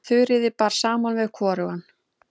Þuríði bar saman við hvorugan.